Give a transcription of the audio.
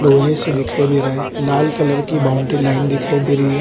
लोहे से दिखाई दे रहा हैं लाल कलर की बाउंड्री लाइन दिखाई दे रही हैं।